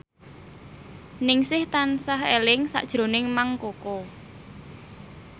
Ningsih tansah eling sakjroning Mang Koko